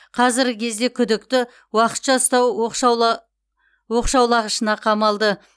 қазіргі кезде күдікті уақытша ұстау оқшаулығышына қамалды